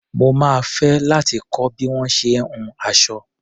Mo máa fẹ́ láti kọ́ bí wọ́n ṣe ń hun aṣọ.